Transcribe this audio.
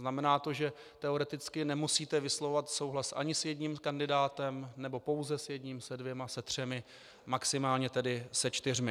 Znamená to, že teoreticky nemusíte vyslovovat souhlas ani s jedním kandidátem, nebo pouze s jedním, se dvěma, se třemi, maximálně tedy se čtyřmi.